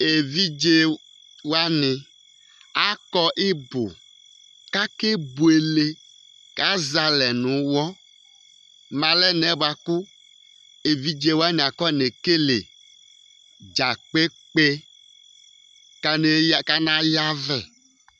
evidze wani akɔ ibò k'ake buele k'azɛ alɛ no uwɔ mo alɛnaɛ boa kò evidze wani akɔne kele dza kpekpe k'ana ya vɛ